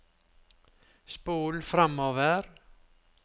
spol framover